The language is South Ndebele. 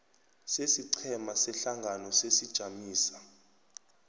sesiqhema sehlangano sesijamiso